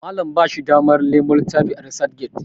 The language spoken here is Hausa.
Malam ba shi damar Nemo littafi a resac get